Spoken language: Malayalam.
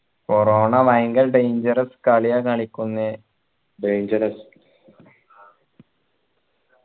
corona ഭയങ്കര danger കാലിയ കളിക്കുന്നെ dangerous